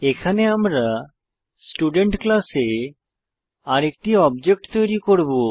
এখানে আমরা স্টুডেন্ট ক্লাসে আরেকটি অবজেক্ট তৈরী করব